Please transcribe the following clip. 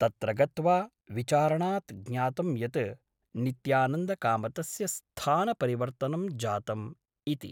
तत्र गत्वा विचारणात् ज्ञातं यत् नित्यानन्दकामतस्य स्थानपरिवर्तनं जातम् इति ।